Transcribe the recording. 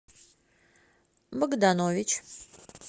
богданович